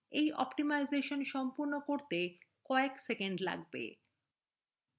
এই অপ্টিমাইজেশান সম্পূর্ণ করতে কয়েক seconds লাগবে